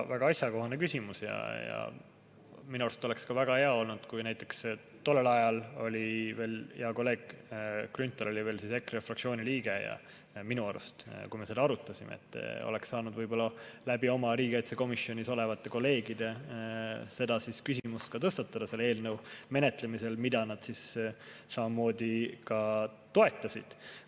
Väga asjakohane küsimus ja minu arust oleks väga hea olnud, kui näiteks tollel ajal, kui me seda arutasime – siis oli hea kolleeg Grünthal minu arust veel EKRE fraktsiooni liige –, oleks oma riigikaitsekomisjonis olevate kolleegide kaudu selle küsimuse tõstatanud selle eelnõu menetlemisel, mida nad siis samamoodi toetasid.